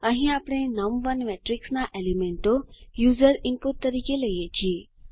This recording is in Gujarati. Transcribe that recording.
અહીં આપણે નમ1 મેટ્રિક્સના એલીમેન્ટો યુઝર ઇનપુટ તરીકે લઈએ છીએ